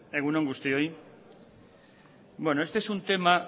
egun on guztioi bueno este es un tema